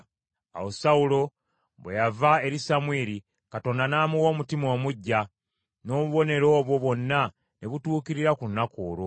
Awo Sawulo bwe yava eri Samwiri, Katonda n’amuwa omutima omuggya, n’obubonero obwo bwonna ne butuukirira ku lunaku olwo.